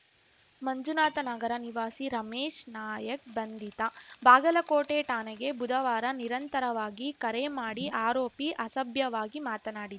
ಮಂಜುನಾಥನಗರ ನಿವಾಸಿ ರಮೇಶ್‌ ನಾಯಕ್‌ ಬಂಧಿತ ಬಾಗಲಕೋಟೆ ಠಾಣೆಗೆ ಬುಧವಾರ ನಿರಂತರವಾಗಿ ಕರೆ ಮಾಡಿ ಆರೋಪಿ ಅಸಭ್ಯವಾಗಿ ಮಾತನಾಡಿ